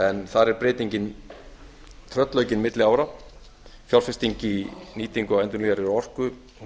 en þar er breytingin tröllaukin milli ára fjárfesting í nýtingu endurnýjanlegri orku